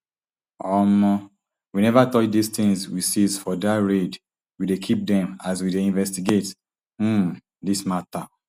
um we neva touch di tins we seize for dat raid we dey keep dem as we dey investigate um dis mata